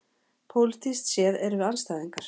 Pólitískt séð erum við andstæðingar